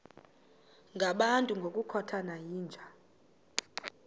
ngabantu ngokukhothana yinja